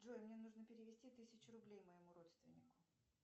джой мне нужно перевести тысячу рублей моему родственнику